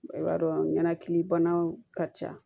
I b'a dɔn ɲanakilibanaw ka ca